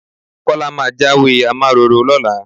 Kọ́lá máa jáwé amáraró lọ́la.